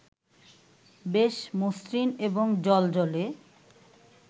বেশ মসৃণ এবং জ্বলজ্বলে